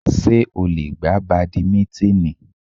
Ṣé ó lè gbá bàdímínítìnì?